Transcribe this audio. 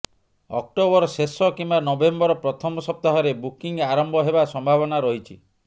October ଶେଷ କିମ୍ବା November ପ୍ରଥମ ସପ୍ତାହରେ ବୁକିଂ ଆରମ୍ଭ ହେବା ସମ୍ଭାବନା ରହିଛି